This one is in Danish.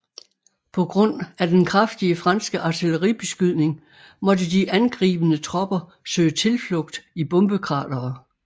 På grund af den kraftige franske artilleribeskydning måtte de angribende tropper søge tilflugt i bombekratere